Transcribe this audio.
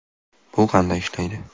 Bu qanday ishlaydi ?